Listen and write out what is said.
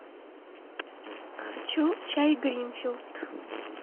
хочу чай гринфилд